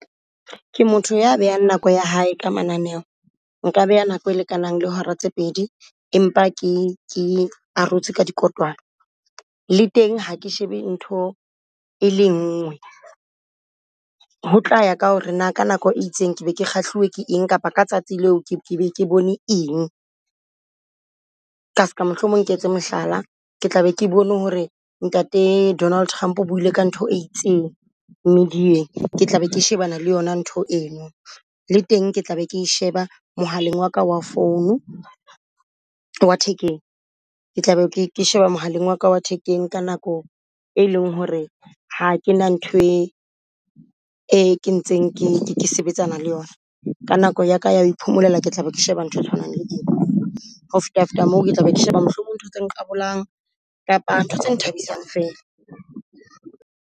Ke motho ya behang nako ya hae ka mananeo. Nka beha nako e lekanang le hora tse pedi, empa ke ke arotse ka dikotwana. Le teng ha ke shebe ntho e le ngwe, ho tla ya ka hore na ka nako e itseng ke be ke kgahliwe ke eng kapa ka tsatsi leo ke bone eng. Ka ska mohlomong ke etse mohlala, ke tla be ke bone hore ntate Donald Trump o buile ka ntho e itseng media-eng. Ke tla be ke shebana le yona ntho eno. Le teng ke tla be ke sheba mohaleng wa ka wa phone wa thekeng. Ke tla be ke sheba mohaleng wa ka wa thekeng ka nako e leng hore ha ke na ntho e e kentsweng ke sebetsana le yona ka nako ya ka ya ho iphomolela, ke tla be ke sheba ntho e tshwanang le eo. Ho fetafeta moo ke tla be ke sheba mohlomong ntho tse nqabolang kapa ntho tse nthabisang fela.